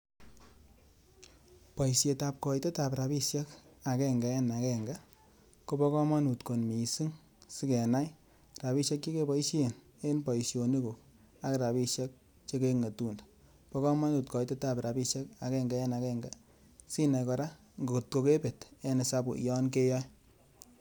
Boisietab koitetab rabishek agenge en agenge, kobo komonut kot missing. Sikenai rabishek chekeboishen en boishonikuk ak rabishek che keng'etunde. Bo komonut koitetab rabishek agenge en agenge sinai kora ngotko kebet en hesabu yon keyoe.